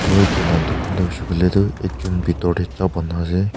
aro etu la tucan dae huishae kuilae tho ekjun bitor dae cha buna ase.